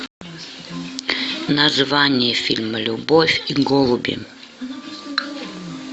название фильма любовь и голуби